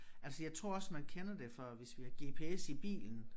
Altså jeg tror også man kender det fra hvis vi har gps i bilen